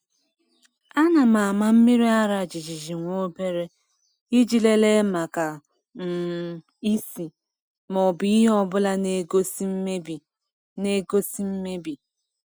A na m ama mmiri ara jijiji nwobere, iji lelee maka um ísì ma ọ bụ ihe ọbụla n'egosi mmebi. n'egosi mmebi.